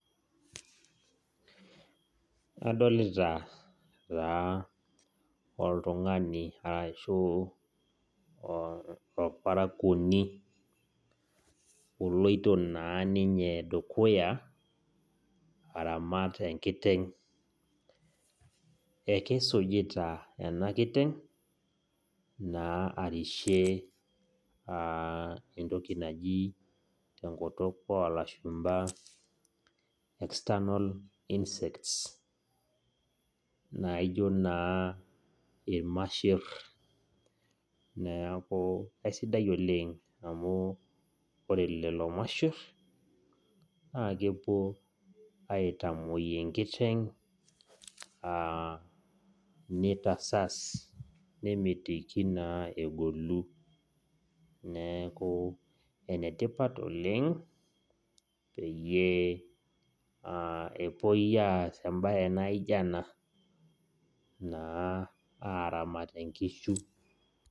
Adolita taa oltung'ani ashuu orparakuoni oloito baa ninye dukuya aramat enkiteng ekeisujita ena kiteng naa arishie entoki naji tenkutuk oolashumba external insects naijio naa irmasher neeku eisidai oleng amu ore lelo masher naa kepuo aitamuoi enkiteng neitasas nemitiki naa egolu neeku naa enetipat oleng peyie epuoi aas embaye naijio ena naa aramat inkishu .